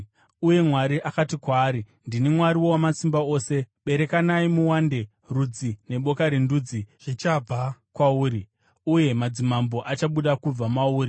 Uye Mwari akati kwaari, “Ndini Mwari Wamasimba Ose; berekanai muwande. Rudzi neboka rendudzi zvichabva kwauri, uye madzimambo achabuda kubva mauri.